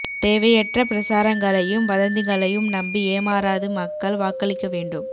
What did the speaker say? தேவையற்ற பிரசாரங்களையும் வதந்திகளையும் நம்பி ஏமாறாது மக்கள் வாக்களிக்க வேண்டும்